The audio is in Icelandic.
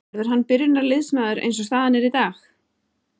Verður hann byrjunarliðsmaður eins og staðan er í dag?